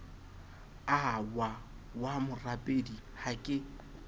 ahwa wa morapedi ha ke